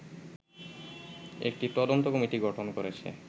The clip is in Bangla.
একটি তদন্ত কমিটি গঠন করেছে